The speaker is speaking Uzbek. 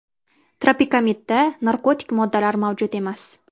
Tropikamidda narkotik moddalar mavjud emas.